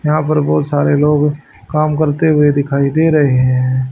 यहां पर बहुत सारे लोग काम करते हुए दिखाई दे रहे हैं।